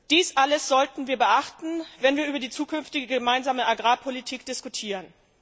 Dies alles sollten wir beachten, wenn wir über die zukünftige gemeinsame Agrarpolitik diskutieren.